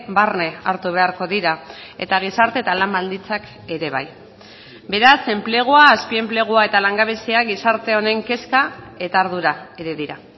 barne hartu beharko dira eta gizarte eta lan baldintzak ere bai beraz enplegua azpi enplegua eta langabezia gizarte honen kezka eta ardura ere dira